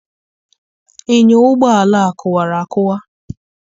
Enyọ ụgbọala a kụwara akụwa.